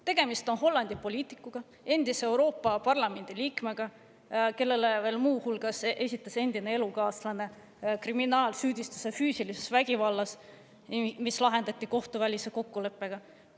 Tegemist on Hollandi poliitikuga, endise Euroopa Parlamendi liikmega, keda muu hulgas endine elukaaslane süüdistas füüsilises vägivallas, see kriminaalasi lahendati kohtuvälise kokkuleppega.